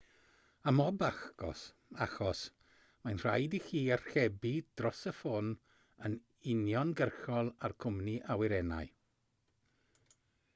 ym mhob achos mae'n rhaid i chi archebu dros y ffôn yn uniongyrchol â'r cwmni awyrennau